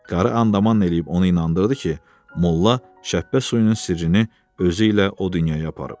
Qarı andaman eləyib onu inandırdı ki, molla şəppə suyunun sirrini özü ilə o dünyaya aparıb.